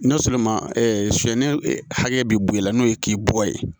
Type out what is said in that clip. N'a sɔrɔ sonyɛli hakɛ bɛ bɔ i la n'o ye k'i bɔ ye